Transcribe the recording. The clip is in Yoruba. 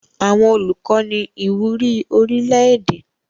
Àwọn Olùkọ ní ìwúrí orílẹ̀-èdè.